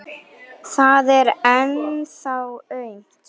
Það er ennþá aumt.